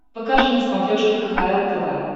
покажи на смотрешке кхл тв